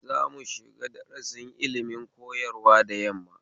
Za mushiga darasin ilimin koyarwa da yamma